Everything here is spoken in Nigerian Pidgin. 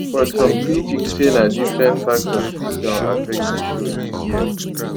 but some critics say na different factors fit don affect di show dis year